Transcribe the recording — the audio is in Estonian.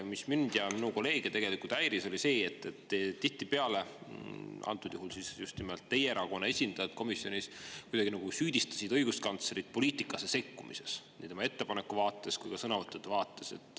Mis mind ja minu kolleege tegelikult häiris, oli see, et antud juhul just nimelt teie erakonna esindajad komisjonis kuidagi nagu süüdistasid õiguskantslerit poliitikasse sekkumises – nii ettepaneku vaates kui ka sõnavõttude vaates.